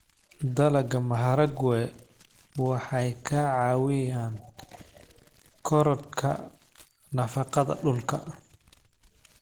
Dalagga maharagwe waxay ka caawiyaan korodhka nafaqada dhulka.